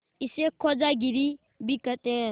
इसे खोजागिरी भी कहते हैं